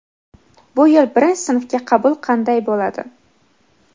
Bu yil birinchi sinfga qabul qanday bo‘ladi?.